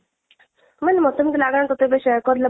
ମାନେ ମତେ ଏମିତି ଲାଗେ ନା ତତେ ଏବେ share କରିଲେ